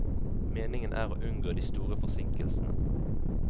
Meningen er å unngå de store forsinkelsene.